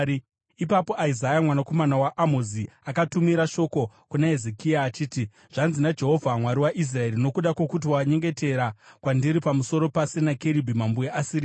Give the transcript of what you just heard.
Ipapo Isaya mwanakomana waAmozi akatumira shoko kuna Hezekia achiti, “Zvanzi naJehovha, Mwari waIsraeri: Nokuda kwokuti wanyengetera kwandiri pamusoro paSenakeribhi mambo weAsiria,